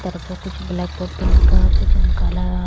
तरफों कुछ blackboard पे लिखा जोन काला --